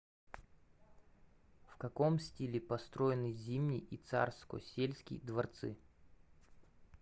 в каком стиле построены зимний и царскосельский дворцы